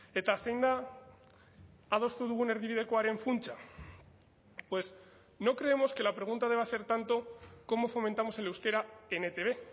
eta zein da adostu dugun erdibidekoaren funtsa pues no creemos que la pregunta deba ser tanto cómo fomentamos el euskera en etb